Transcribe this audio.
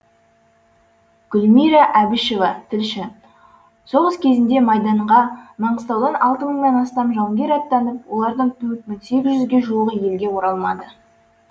гүлмира әбішева тілші соғыс кезінде майданға маңғыстаудан алты мыңнан астам жауынгер аттанып олардың төрт мың сегіз жүзге жуығы елге оралмады